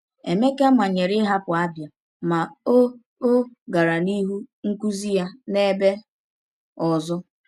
Emeka manyere ịhapụ Abia, ma o o gara n’ihu nkuzi ya n’ebe ọzọ.